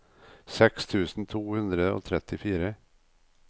seks tusen to hundre og trettifire